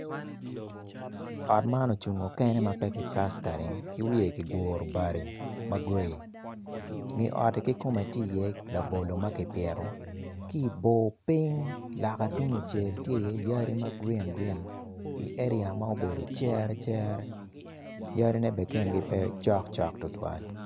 Ot man ocungo kene ma pe kiplastering ki wiye kiguro bati ma gray nge otti ki kome tye labolo ka kipito ki i bor piny loka tung kucel tye iye yadi ma grin grin i area ma obedo cere cere yadine bene kingi pe cok cok tutwal.